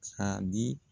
Ka di